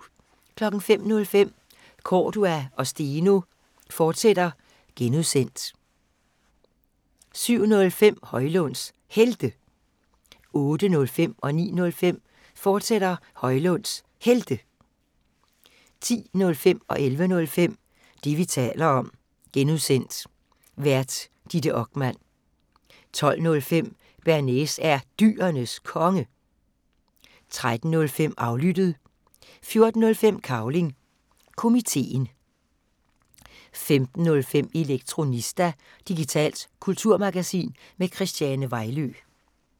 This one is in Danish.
05:05: Cordua & Steno, fortsat (G) 07:05: Højlunds Helte 08:05: Højlunds Helte, fortsat 09:05: Højlunds Helte, fortsat 10:05: Det, vi taler om (G) Vært: Ditte Okman 11:05: Det, vi taler om (G) Vært: Ditte Okman 12:05: Bearnaise er Dyrenes Konge 13:05: Aflyttet 14:05: Cavling Komiteen 15:05: Elektronista – digitalt kulturmagasin med Christiane Vejlø